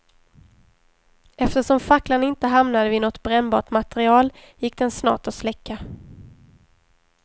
Eftersom facklan inte hamnade vid något brännbart material gick den snart att släcka.